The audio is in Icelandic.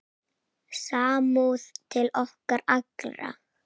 Samúð til okkar allra.